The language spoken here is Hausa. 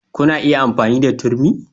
Kuna iya amfani da turmi